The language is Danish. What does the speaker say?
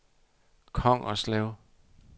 Kongerslev